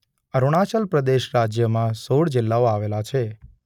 અરુણાચલ પ્રદેશ રાજ્યમાં સોળ જિલ્લાઓ આવેલા છે.